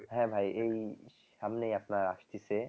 হ্যাঁ ভাই এই সামনেই আপনার আসতিছে